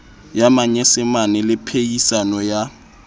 ya manyesemane le phehisano ya